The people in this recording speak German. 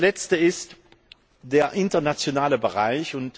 Der letzte Punkt ist der internationale Bereich.